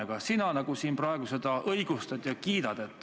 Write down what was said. Aga sina praegu siin seda nagu õigustad ja kiidad.